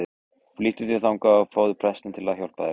Flýttu þér þangað og fáðu prestinn til að hjálpa þér.